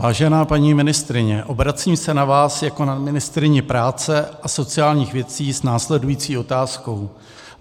Vážená paní ministryně, obracím se na vás jako na ministryni práce a sociálních věcí s následující otázkou.